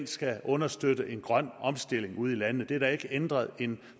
skal understøtte en grøn omstilling ude i landene det er der ikke ændret en